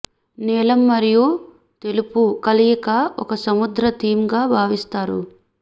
నీలం మరియు తెలుపు కలయిక ఒక సముద్ర థీమ్ గా భావిస్తారు